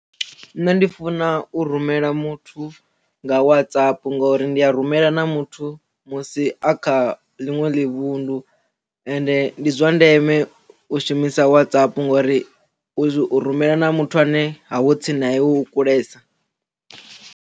Nṋe ndi funa u rumela muthu nga WhatsApp ngori ndi a rumela na muthu musi a kha ḽinwe ḽi vhunḓu ende ndi zwa ndeme u shumisa WhatsApp ngori u rumela na muthu ane ha ho tsini na iwe u kulesa.